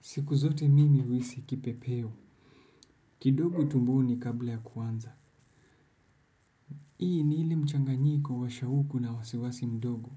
Siku zote mimi uhisi kipepeo. Kidogo tumboni kabla ya kuanza hii ni ile mchanganyiko wa shauku na wasiwasi mdogo.